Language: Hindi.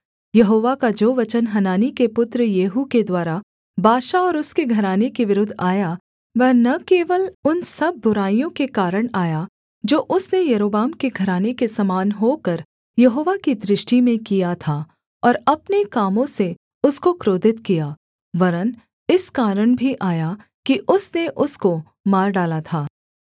यहोवा का जो वचन हनानी के पुत्र येहू के द्वारा बाशा और उसके घराने के विरुद्ध आया वह न केवल उन सब बुराइयों के कारण आया जो उसने यारोबाम के घराने के समान होकर यहोवा की दृष्टि में किया था और अपने कामों से उसको क्रोधित किया वरन् इस कारण भी आया कि उसने उसको मार डाला था